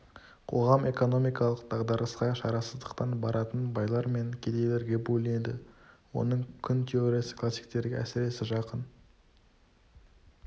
қоғам экономикалық дағдарысқа шарасыздықтан баратын байлар мен кедейлерге бөлінеді оның құн теориясы классиктерге әсіресе жақын